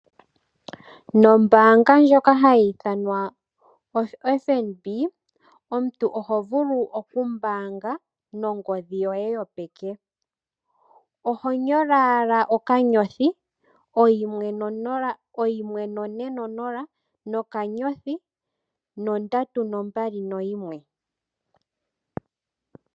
Nombaanga ndjoka hayi ithanwa oFNB omuntu oho vulu oku mbaanga nongodhi yoye yopeke. Oho nyola owa okanyothi oyimwe none nonola okanyothi, nondatu nombali noyimwe.